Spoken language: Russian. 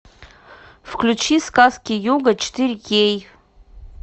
включи сказки йога четыре кей